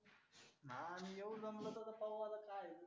हा येऊ जमलं तर पाहू आता काय आहे.